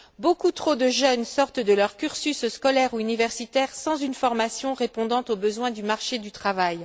Beaucoup trop de jeunes sortent de leur cursus scolaire ou universitaire sans une formation répondant aux besoins du marché du travail.